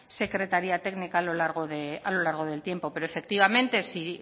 secretaría técnica a lo largo del tiempo pero efectivamente si